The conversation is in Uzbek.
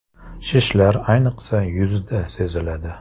Shishlar ayniqsa yuzda seziladi.